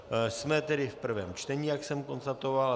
Jsme tedy v prvém čtení, jak jsem konstatoval.